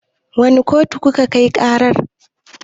Wane kotu kuka kai ƙarar?